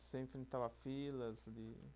Você enfrentava filas de